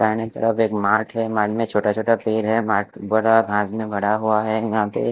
बाइने तरफ एक मार्ट है मार्ट में छोटा छोटा पेड़ है मार्ट बड़ा पास में भरा हुआ है।